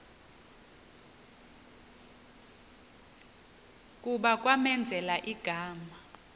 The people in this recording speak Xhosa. kuba kwamenzela igama